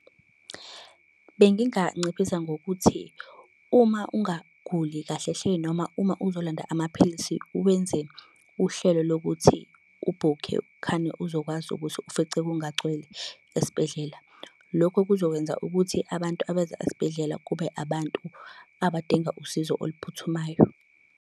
Benginganciphisa ngokuthi uma ungaguli kahle hle noma uma uzolanda amaphilisi wenze uhlelo lokuthi ubhukhe khane uzokwazi ukuthi ufice kungagcwele esibhedlela. Lokho kuzokwenza ukuthi abantu abeza esibhedlela kube abantu abadinga usizo oluphuthumayo.